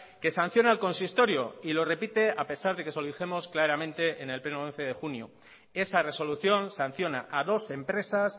que sanciona al consistorio y lo repite a pesar de que se lo dijimos claramente en el pleno del once de junio esa resolución sanciona a dos empresas